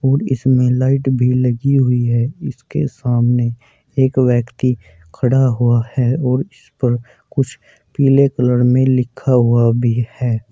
और इसमें लाइट भी लगी हुई है इसके सामने एक व्यक्ति खड़ा हुआ है और इस पर कुछ पीले कलर में लिखा हुआ भी है।